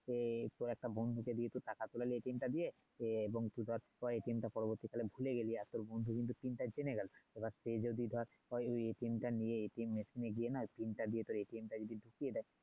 এ তোর বন্ধুকে দিয়ে টাকা তোলালি টা দিয়ে সে এবং তুই ধর কয়েক দিন তার পরবর্তীকালে ভুলে গেলি আর তোর বন্ধু কিন্তু টা জেনে গেলো সে যদি ধর পরে নিয়ে গিয়ে না টা দিয়ে তোর টা দিয়ে দেয়